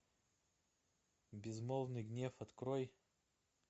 безмолвный гнев открой